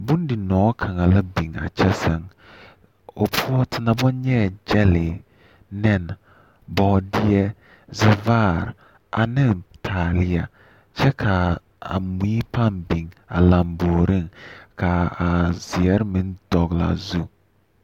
Bondinõͻ kaŋa la biŋaa kyԑ sԑŋ. O poͻ ten a baŋ nyԑԑ gyԑlee, nԑne, ͻͻdeԑ, zԑvaare aneŋ taaleԑ kyԑ kaa mii paa biŋ a lzmbooreŋ kaa a zeԑre meŋ dogelaa zu.